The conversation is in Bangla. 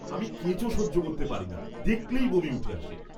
আমি কেঁচো সহ্য করতে পারি না, দেখলেই বমি উঠে আসে!